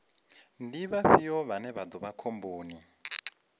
ndi vhafhio vhane vha vha khomboni